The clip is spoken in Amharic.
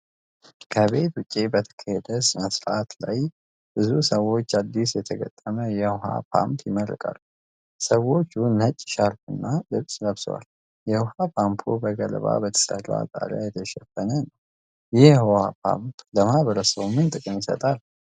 ከቤት ውጭ በተካሄደ ስነስርዓት ላይ ብዙ ሰዎች አዲስ የተገጠመ የውኃ ፓምፕ ይመረቃሉ። ሰዎች ነጭ ሻርፕና ልብስ ለብሰዋል። የውሃ ፓምፑ በገለባ በተሰራ ጣሪያ የተሸፈነ ነው። ይህ የውሃ ፓምፕ ለማህበረሰቡ ምን ጥቅም ይሰጣል?